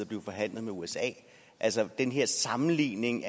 blive forhandlet med usa altså den her sammenligning